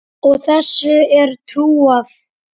Og þessu er trúað.